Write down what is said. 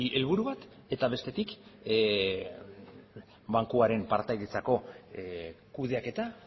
helburu bat eta bestetik bankuaren partaidetzako kudeaketa